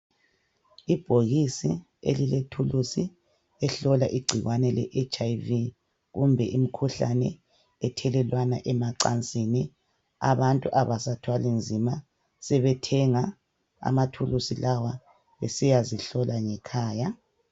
Ibhokisi elilethulusi elihlola igcikwane le HIV kumbe imikhuhlane ethelelwana emacansini. Abantu abasathwali nzima, sebethenga amathulusi lawa besiyazihlola ngekhaya.